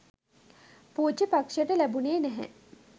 පූජ්‍යපක්ෂයට ලැබුනේ නැහැ.